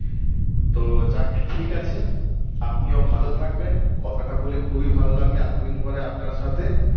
তো যাক ঠিক আছে আপনিও ভালো থাকবেন কথাটা বলে খুবই ভালো লাগলো এতদিন পরে আপনার সাথে